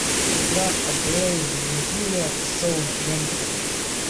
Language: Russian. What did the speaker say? игра апл ливерпуля с саутгемптоном